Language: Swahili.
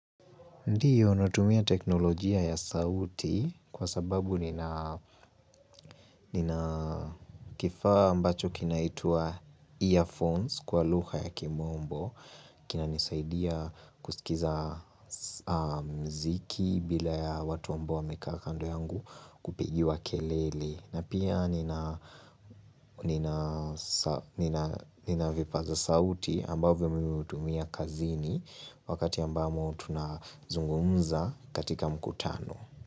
Ndiyo, natumia teknolojia ya sauti kwa sababu nina nina kifaa ambacho kinaitwa earphones kwa lugha ya kimombo. Kinanisaidia kusikiza mziki bila ya watu ambao wamekaa kando yangu kupigiwa kelele. Na pia nina vipaza sauti ambavyo mimi utumia kazini wakati ambapo tunazungumza katika mkutano.